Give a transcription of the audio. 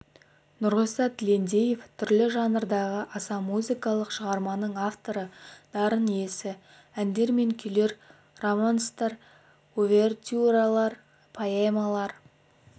нұрғиса тілендиев түрлі жанрдағы аса музыкалық шығарманың авторы дарын иесі әндер мен күйлер романстар увертюралар поэмалар